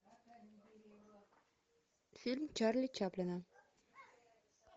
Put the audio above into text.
фильм чарли чаплина